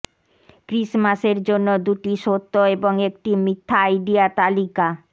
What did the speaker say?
ক্রিসমাসের জন্য দুটি সত্য এবং একটি মিথ্যা আইডিয়া তালিকা